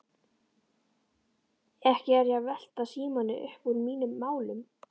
Ekki er ég að velta Símoni uppúr mínum málum.